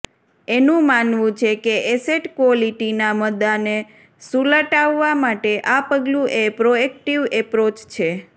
એનું માનવું છે કે એસેટ ક્વોલિટીના મદ્દાને સુલટાવવા માટે આ પગલું એ પ્રોએક્ટિવ એપ્રોચ છે